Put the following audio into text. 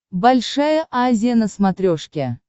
большая азия на смотрешке